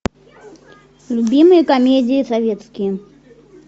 любимые комедии советские